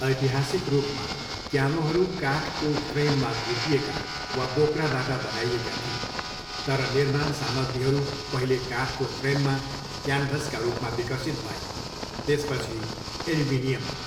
ऐतिहासिक रूपमा, क्यानोहरू काठको फ्रेममा खोपिएका वा बोक्राबाट बनाइएका थिए, तर निर्माण सामग्रीहरू पहिले काठको फ्रेममा क्यानभासका रूपमा विकसित भए, त्यसपछि एल्युमिनियममा।